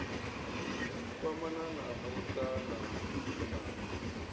kwamana na muṱa na dzikhonani